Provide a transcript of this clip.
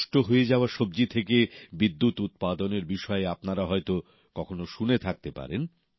নষ্ট হয়ে যাওয়া সবজি থেকে বিদ্যুৎ উৎপাদনের বিষয়ে আপনারা হয়তো কখনো শুনে থাকতে পারেন